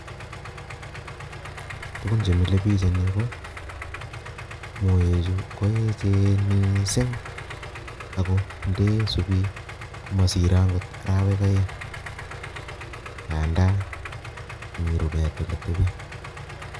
Tukun chemelibich eng yu ko moechu koechen mising ako ndesubi komasirei arawek aeng ako mi olemi rubet